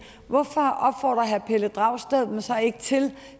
hvorfor opfordrer herre pelle dragsted dem så ikke til